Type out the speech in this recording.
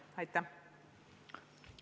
Aitäh!